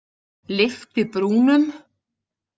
Lyfti brúnum.